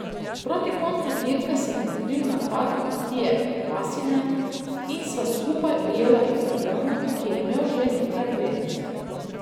Proti koncu dirke sem pokril napad Matije Kvasine in sva skupaj ujela Italijana, ki je imel že nekaj prednosti.